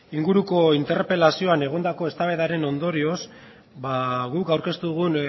inguruko interpelazioan egondako eztabaidaren ondorioz guk aurkeztu dugun